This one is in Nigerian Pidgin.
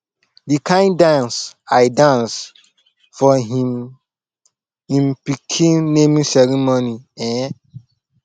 the kin dance i dance for im im pikin naming ceremony eh